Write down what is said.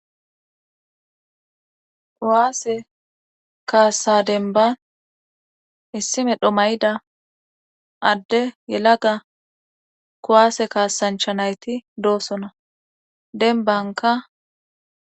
kuwaase kaassa denban issi medho mayida adde yelaga kowaase kaasancha nayti doosona denbanka